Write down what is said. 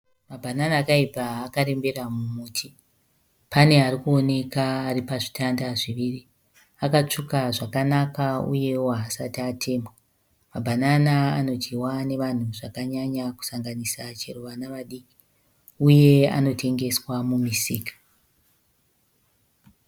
mabhanana akayibva akarembera mumuti. Pane arikuwonekwa aripazvitatanda zviviri akasvuka zvakanaka uye wo asati atemwa,.Mabhanana anodjiwa nevanhu zvakanyanya kusanganira vanha vadiki uye anotengeswamumisika